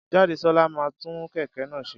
Jádesọ́lá máa tún kẹ̀kẹ́ náà ṣe.